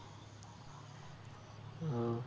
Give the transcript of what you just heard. ও